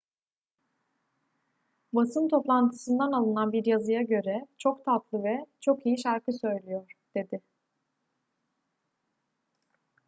basın toplantısından alınan bir yazıya göre çok tatlı ve çok iyi şarkı söylüyor dedi